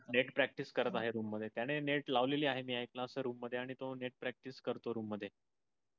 net practice करत आहे. room मधे, त्याने net लावलेली आहे मी high class room मधे आणि त्यो net practice करतो room मधे.